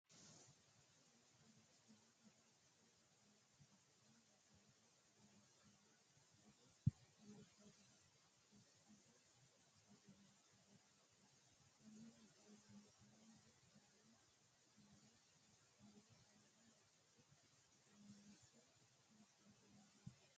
Kuni leellanni noohu ijaaraho konne ijaara loonsoonni gari biifadonna ikkado garaati konni ijaari albaanni faayya faayya haqqe kaayiinse hee'noonni yaate